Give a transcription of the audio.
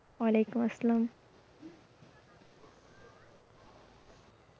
ওলাইকুম আসলাম।